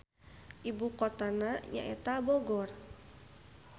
Ibu kotana nyaeta Bogor.